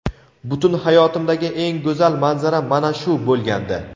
Butun hayotimdagi eng go‘zal manzara mana shu bo‘lgandi.